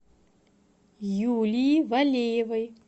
юлии валеевой